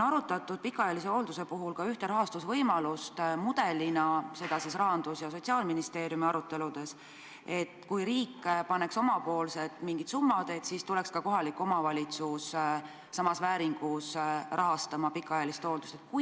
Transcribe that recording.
Aga pikaajalise hoolduse puhul on ühe rahastusvõimalusena arutatud ka sellist mudelit – Rahandusministeeriumi ja Sotsiaalministeeriumi aruteludes –, mille korral riik paneks omalt poolt mingi summa ja kohalik omavalitsus rahastaks pikaajalist hooldust samas mahus.